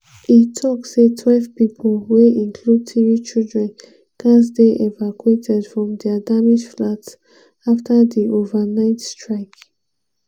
e tok say twelve pipo – wey include three children – gatz dey evacuated from dia damaged flats afta di overnight strike.